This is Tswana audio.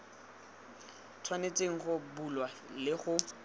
tshwanetseng go bulwa le go